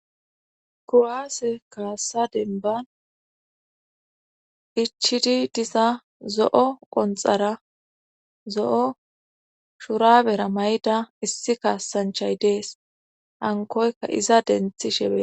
Kuwaase kaassa denban ichidi disa zo'o qonxara zo'o shurabera mayda issi kaassanchay dees hankoyka iza denthi shefe